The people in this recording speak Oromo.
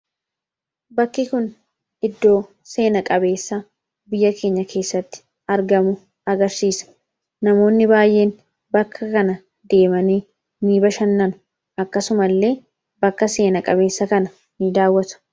bakki kun iddoo seena-qabeessa biyya keenya keessatti argamu agarsiisa namoonni baay'een bakka kana deemanii ni bashannanu akkasuma illee bakka seena qabeessa kana in daawwatu.